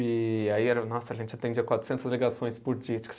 E aí, era nossa, a gente atendia quatrocentas ligações por dia.